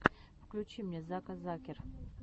включи мне зака закер